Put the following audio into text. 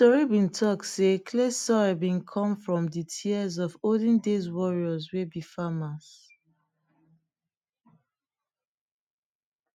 tori been talk sey clay soil been come from dey tears of olden days warrriors wey be farmers